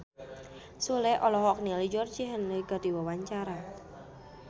Sule olohok ningali Georgie Henley keur diwawancara